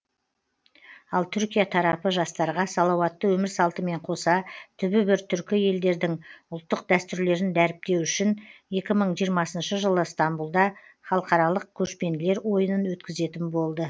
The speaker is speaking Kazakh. ал түркия тарапы жастарға салауатты өмір салтымен қоса түбі бір түркі елдердің ұлттық дәстүрлерін дәріптеу үшін екі мың жиырмасыншы жылы стамбұлда халықаралық көшпенділер ойынын өткізетін болды